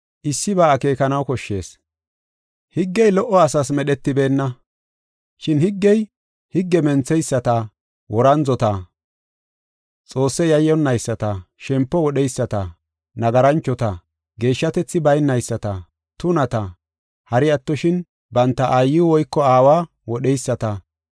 Issiba akeekanaw koshshees. Higgey lo77o asaas medhetibeenna. Shin higgey, higge mentheyisata, worandzota, Xoosse yayyonnayisata, shempo wodheyisata, nagaranchota, geeshshatethi baynayisata, tunata, hari attoshin banta aayiw woyko aawa wodheyisata,